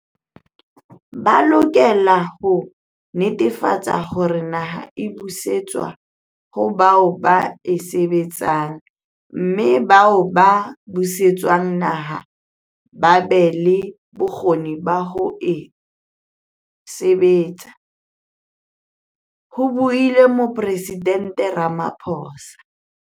"Ba lokela ho netefatsa hore naha e busetswa ho bao ba e sebetsang mme bao ba buse tswang naha ba be le bokgoni ba ho ka e sebetsa," ho buile Moporesident Rama phosa.